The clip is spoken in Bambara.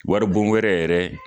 Waribon wɛrɛ yɛrɛ